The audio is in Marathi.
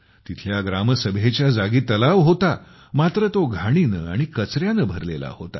तिथल्या ग्रामसभेच्या जागी तलाव होता मात्र तो घाणीने आणि कचऱ्याने भरलेला होता